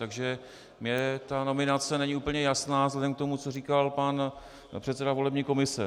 Takže mně ta nominace není úplně jasná vzhledem k tomu, co říkal pan předseda volební komise.